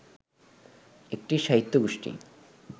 একটি সাহিত্যগোষ্ঠী